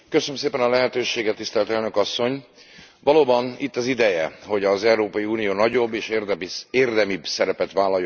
Valóban itt az ideje, hogy az Európai Unió nagyobb és érdemibb szerepet vállaljon a közel keleti békefolyamat előmozdításában.